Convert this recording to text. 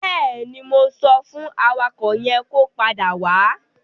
Bẹ́ẹ̀ni, mo sọ fún awakọ̀ yẹn kó padà wá.